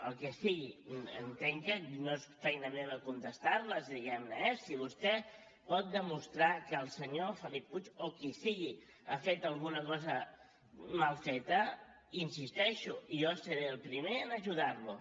el que sigui entenc que no és feina meva contestar les diguem ne eh si vostè pot demostrar que el senyor felip puig o qui sigui ha fet alguna cosa mal feta hi insisteixo jo seré el primer en ajudar lo